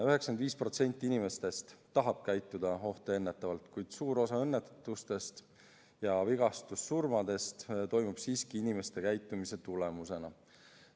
95% inimestest tahab käituda ohtu ennetavalt, kuid suur osa õnnetustest ja vigastussurmadest toimub siiski inimeste käitumise tulemusena.